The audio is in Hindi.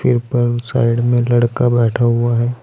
पर साइड में लड़का बैठा हुआ है।